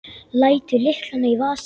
Lætur lyklana í vasann.